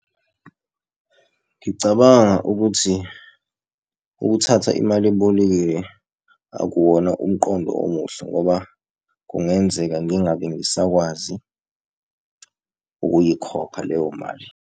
Ngicabanga ukuthi ukuthatha imali ebolekiwe akuwona umqondo omuhle ngoba kungenzeka ngingabe ngisakwazi ukuyikhokha leyo mali.